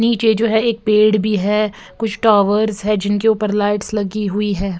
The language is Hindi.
नीचे जो एक पेड़ भी है कुछ टावर्स है जिन के ऊपर लाइट्स भी है।